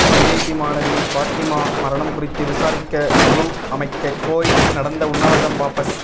IIT மாணவி பாத்திமா மரணம் குறித்து விசாரிக்க குழு அமைக்க கோரி நடந்த உண்ணாவிரதம் வாபஸ்